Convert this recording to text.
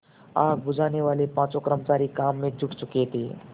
आग बुझानेवाले पाँचों कर्मचारी काम में जुट चुके थे